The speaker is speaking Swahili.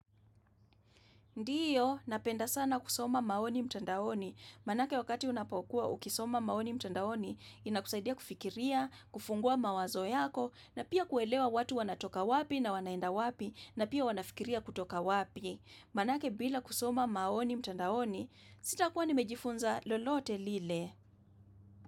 Ndiyo, napenda sana kusoma maoni mtandaoni, maanake wakati unapokua ukisoma maoni mtandaoni, inakusaidia kufikiria, kufungua mawazo yako, na pia kuelewa watu wanatoka wapi na wanaenda wapi, na pia wanafikiria kutoka wapi, maanake bila kusoma maoni mtandaoni, sitakua nimejifunza lolote lile.